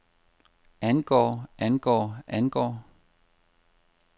angår angår angår